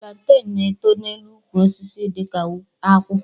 Planten na-eto n'elu ukwu osisi dị ka akwụ